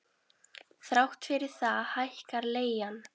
Þrátt fyrir það hækkar leigan.